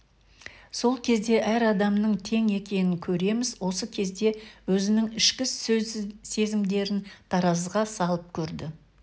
сол кезде әр адамның тең екенін көреміз осы кезде өзінің ішкі сезімдерін таразыға салып көрді